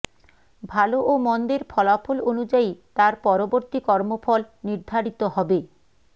ভালো ও মন্দের ফলাফল অনুযায়ী তার পরবর্তী কর্মফল নির্ধারিত হবে